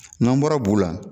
An bɔra bu la.